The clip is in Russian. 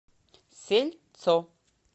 сельцо